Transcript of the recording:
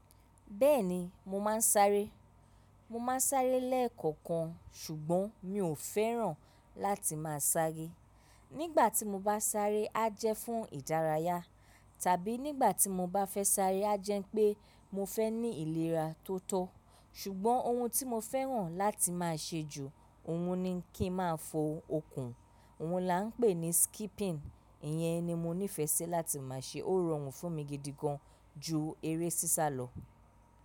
Bẹ́ẹ̀ni mo máa ń sáré. Mo máa ń sáré lẹ́ẹ̀kọ̀kan ṣùgbọ́n mi ò fẹ́ràn láti máa sáré. Nígbà tí mo bá sáré á jẹ́ fún ìdárayá tàbí nígbà tí mo bá fẹ́ sáré á jẹ́ pé mo fẹ́ ní ìlera tó tọ́. Ṣùgbọ́n ohun tí mo fẹ́ràn láti máa ṣe jù ohun ni kí n máa fo okùn òun là ń pè ní skipping. Ìyẹn ni mo ní ìfẹ́ sí láti máa ṣe. Ó rọrùn fún mi gidi gan ju eré sísá lọ.